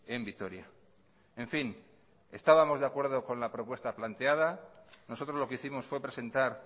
en vitoria en fin estábamos de acuerdo con la propuesta planteada nosotros lo que hicimos fue presentar